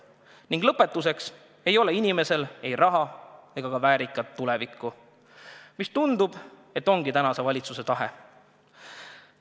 Nii et lõpuks ei ole inimesel ei raha ega ka väärikat tulevikku ja tundub, et see ongi tänase valitsuse tahe.